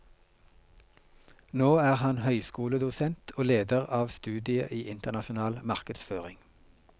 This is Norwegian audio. Nå er han høyskoledosent og leder av studiet i internasjonal markedsføring.